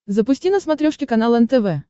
запусти на смотрешке канал нтв